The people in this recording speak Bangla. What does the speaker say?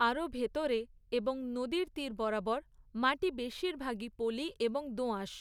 আরও ভেতরে এবং নদীর তীর বরাবর, মাটি বেশিরভাগই পলি এবং দোআঁশ।